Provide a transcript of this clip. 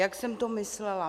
Jak jsem to myslela?